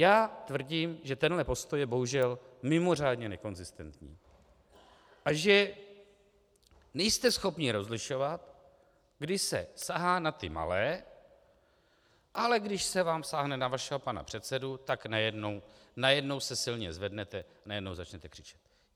Já tvrdím, že tenhle postoj je bohužel mimořádně nekonzistentní a že nejste schopni rozlišovat, kdy se sahá na ty malé, ale když se vám sáhne na vašeho pana předsedu, tak najednou se silně zvednete, najednou začnete křičet.